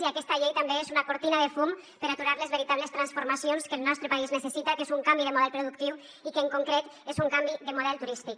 i aquesta llei també és una cortina de fum per aturar les veritables transformacions que el nostre país necessita que és un canvi de model productiu i que en concret és un canvi de model turístic